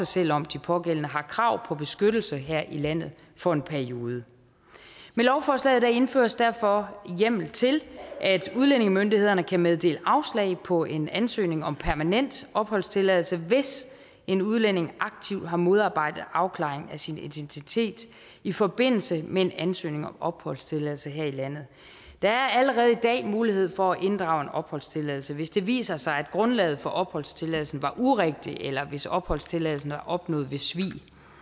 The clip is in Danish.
selv om de pågældende har krav på beskyttelse her i landet for en periode med lovforslaget indføres derfor hjemmel til at udlændingemyndighederne kan meddele afslag på en ansøgning om permanent opholdstilladelse hvis en udlænding aktivt har modarbejdet afklaring af sin identitet i forbindelse med en ansøgning om opholdstilladelse her i landet der er allerede i dag mulighed for at inddrage en opholdstilladelse hvis det viser sig at grundlaget for opholdstilladelsen var urigtigt eller hvis opholdstilladelsen er opnået ved svig